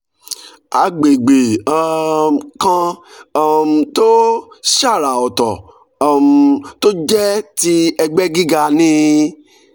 agbegbe um kan um tó ṣàrà ọ̀tọ̀ um tó jẹ́ ti ẹgbẹ́ gíga ni